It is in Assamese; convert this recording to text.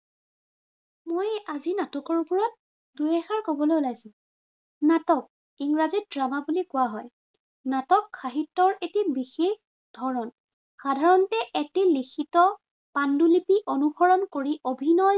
মই আজি নাটকৰ ওপৰত দুই এষাৰ কবলৈ ওলাইছো। নাটক, ইংৰাজীত drama কোৱা বুলি কোৱা হয়। নাটক সাহিত্য়ৰ এটি বিশেষ ধৰণ। সাধাৰাণতে এটি লিখিত পাণ্ডুলিপি অনুসৰণ কৰি, অভিনয়েৰে